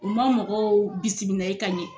U ma mɔgɔw bisimilaye ka ɲɛ